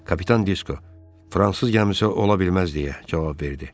Kapitan Disko, Fransız gəmisi ola bilməz, deyə cavab verdi.